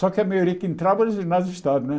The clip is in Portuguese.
Só que a maioria que entrava era de ginásio de estado, né?